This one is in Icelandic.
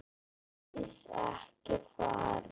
Ásdís, ekki fara.